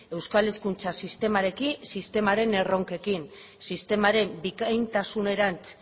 euskal hezkuntza sistemaren erronkekin sistemaren bikaintasunerantz